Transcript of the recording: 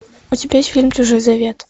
у тебя есть фильм чужой завет